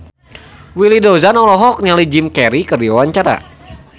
Willy Dozan olohok ningali Jim Carey keur diwawancara